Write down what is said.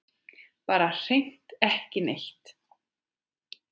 Bara hreint ekki neitt.